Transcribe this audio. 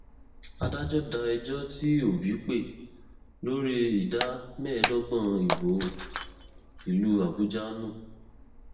adájọ da ẹjọ tí òbí pè lórí ìdá mẹẹẹdọgbọn ìbò ìlú àbújá nù